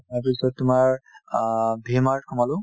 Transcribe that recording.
তাৰপিছত তোমাৰ অ V-Mart সোমালো